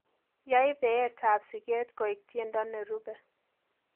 yae beetab siket koe tiendo nerube